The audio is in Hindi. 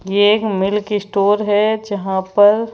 ये एक मिल्क स्टोर है जहां पर--